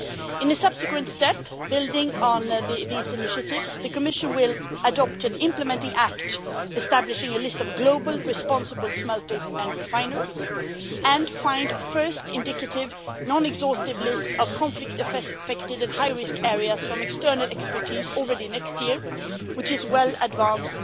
In the subsequent step, building on these initiatives, the Commission will adopt and implement the act establishing a list of global responsible smelters and refiners and find a first indicative non exhaustive list of conflict affected and high risk areas from external expertise already next year, which is well in advance